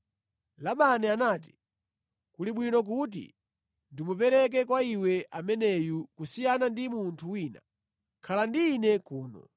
Labani anati, “Kuli bwino kuti ndimupereke kwa iwe ameneyu kusiyana ndi munthu wina. Khala ndi ine kuno.”